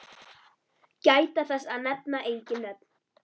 Gæta þess að nefna engin nöfn.